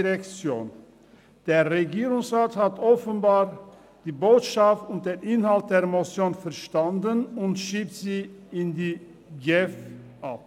Der Regierungsrat hat offenbar die Botschaft und den Inhalt der Motion verstanden und schiebt sie in die GEF ab.